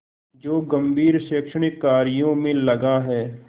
जो गंभीर शैक्षणिक कार्यों में लगा है